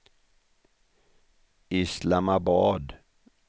Islamabad